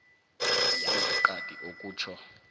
yangeqadi okutjho